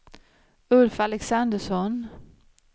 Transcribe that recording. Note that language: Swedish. Ulf Alexandersson